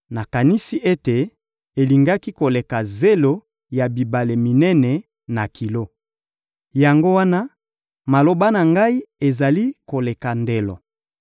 nakanisi ete elingaki koleka zelo ya bibale minene na kilo. Yango wana, maloba na ngai ezali koleka ndelo.